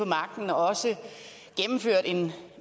magten og gennemført en